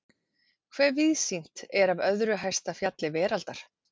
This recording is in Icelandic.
Hve víðsýnt er af öðru hæsta fjalli veraldar?